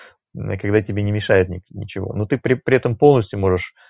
никогда тебе не мешает ничего но ты при этом полностью можешь